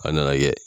A nana kɛ